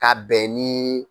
Ka bɛn niii.